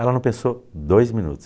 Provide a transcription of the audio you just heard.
Ela não pensou dois minutos.